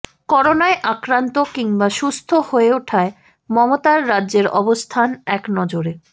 করোনায় আক্রান্ত কিংবা সুস্থ হয়ে ওঠায় মমতার রাজ্যের অবস্থান একনজরে